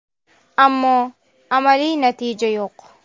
Ammo amaliy natija yo‘q.